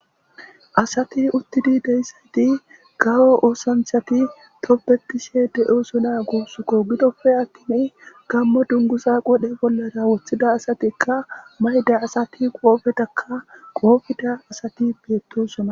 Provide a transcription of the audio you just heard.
asati uttidi deyssayti gawo oosanthati toppetishe de7osona guusukko gidofe attini gammo dungusa qodhe bollara woththida asatikka mayda asati qoofetakka qoofita asati biyettosona